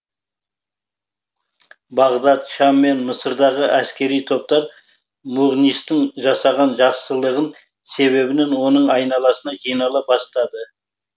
бағдат шам мен мысырдағы әскери топтар мұғнистің жасаған жақсылығын себебінен оның айналасына жинала бастады